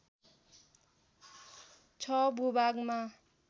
६ भूभागमा